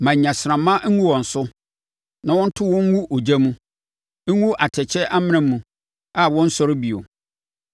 Ma nnyasrama ngu wɔn so; ma wɔnto wɔn ngu ogya mu, ngu atɛkyɛ amena mu a wɔrensɔre bio.